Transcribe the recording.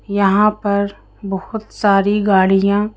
यहां पर बहुत सारी गाड़ियां--